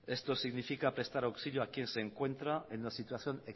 esto significa prestar auxilio a quien se encuentra en una situación